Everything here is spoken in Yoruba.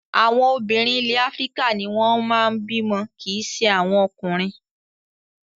Àwọn obìnrin ilẹ̀ Áfíríkà ni wọ́n máa ń bímọ kì í ṣe àwọn ọkùnrin.